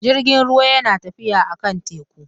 Jirgin ruwa yana tafiya a kan teku